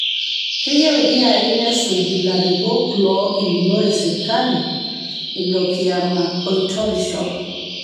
Keyieu ilkiyai nesuj larikok loogilunore sirkali, ilo kioma oitorisho